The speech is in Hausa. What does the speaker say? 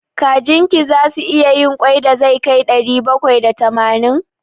Kajin ki zasu iya yin ƙwai da zai kai ɗari bakwai da tamanin?